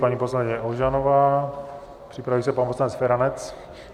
Paní poslankyně Ožanová, připraví se pan poslanec Feranec.